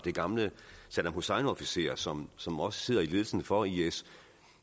er gamle saddam hussein officerer som som også sidder i ledelsen for is